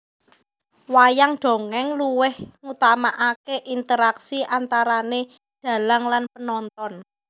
Wayang dongèng luweh ngutamakake interaksi antarane dhalang lan penonton